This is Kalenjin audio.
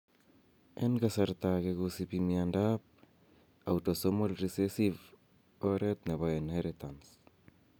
En kasarta age kosipi miondo autosomal recessive oret nepo inheritance.